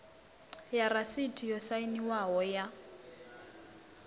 ya rasiti yo sainwaho ya